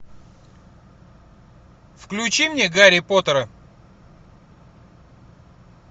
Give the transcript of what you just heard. включи мне гарри поттера